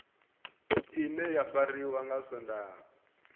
ine ya fariwa nga swondaha